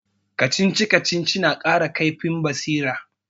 Kacici-kacici na kara kaifin basira